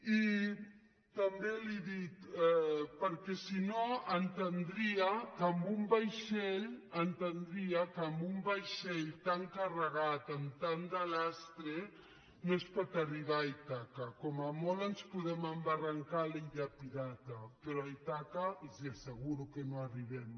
i també li dic perquè si no entendria que amb un vaixell tan carregat amb tant de lastreno es pot arribar a ítaca com a molt ens podem embarrancar a l’illa pirata però a ítaca els asseguro que no hi arribem